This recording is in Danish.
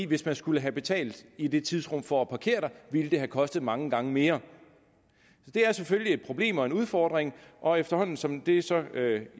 hvis man skulle have betalt i det tidsrum for at parkere der ville det have kostet mange gange mere det er selvfølgelig et problem og en udfordring og efterhånden som det så